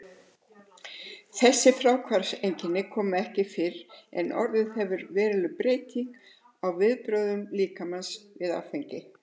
Þessi fráhvarfseinkenni koma ekki fyrr en orðið hefur veruleg breyting á viðbrögðum líkamans við áfenginu.